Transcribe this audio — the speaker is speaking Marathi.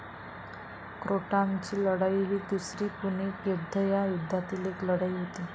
क्रोटॉनची लढाई ही दुसरी पुणिक युद्ध या युद्धातील एक लढाई होती.